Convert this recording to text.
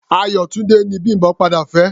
Ayọ̀túndé ni Bím̀bọ́ padà fẹ́.